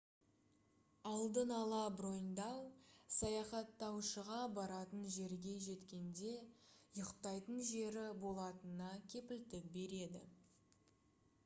алдын ала броньдау саяхаттаушыға баратын жерге жеткенде ұйықтайтын жері болатынына кепілдік береді